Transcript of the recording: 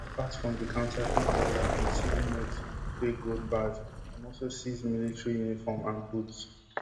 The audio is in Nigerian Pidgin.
apart from di counterfeit dollar and cedi notes and di fake gold bars dem also seize military uniform and boots